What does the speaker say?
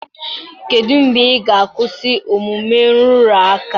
Kedu mgbe ị ga-akwụsị omume nrụrụ aka a?